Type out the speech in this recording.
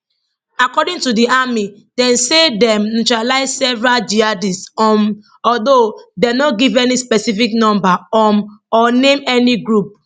according to di army dem say dem neutralise several jihadists um although dem no give any specific number um or name any group